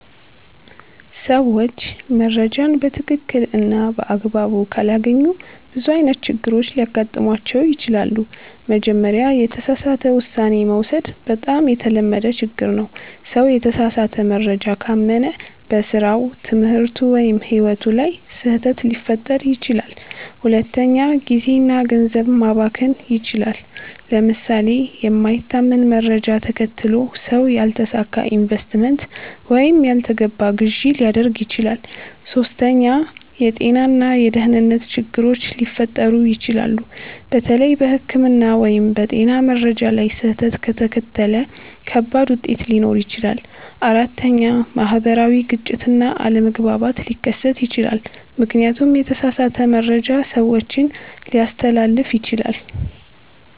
ሰዎች መረጃን በትክክል እና በአግባቡ ካላገኙ ብዙ አይነት ችግሮች ሊገጥሟቸው ይችላሉ። መጀመሪያ፣ የተሳሳተ ውሳኔ መውሰድ በጣም የተለመደ ችግር ነው። ሰው የተሳሳተ መረጃ ካመነ በስራው፣ ትምህርቱ ወይም ሕይወቱ ላይ ስህተት ሊፈጥር ይችላል። ሁለተኛ፣ ጊዜ እና ገንዘብ መባከን ይችላል። ለምሳሌ የማይታመን መረጃ ተከትሎ ሰው ያልተሳካ ኢንቨስትመንት ወይም ያልተገባ ግዢ ሊያደርግ ይችላል። ሶስተኛ፣ የጤና እና የደህንነት ችግሮች ሊፈጠሩ ይችላሉ። በተለይ በሕክምና ወይም በጤና መረጃ ላይ ስህተት ከተከተለ ከባድ ውጤት ሊኖር ይችላል። አራተኛ፣ ማህበራዊ ግጭት እና አለመግባባት ሊከሰት ይችላል፣ ምክንያቱም የተሳሳተ መረጃ ሰዎችን ሊያስተላልፍ ይችላል።